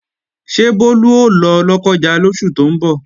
Ṣé Bólú ó lọ Lọ́kọ́ja lóṣù tó ń bọ̀?